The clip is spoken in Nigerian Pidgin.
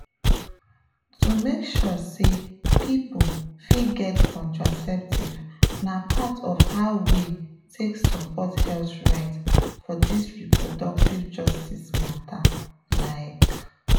to make sure say people fit get contraceptives na part of how we take support health rights for this reproductive justice matter like.